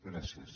gràcies